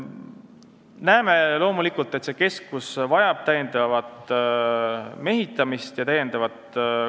Näeme loomulikult, et keskus vajab mehitamist ja lisapädevust.